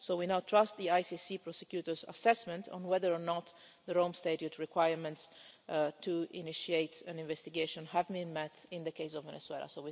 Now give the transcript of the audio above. So we now trust the ICC prosecutor's assessment on whether or not the Rome Statute requirements to initiate an investigation have been met in the case of Venezuela.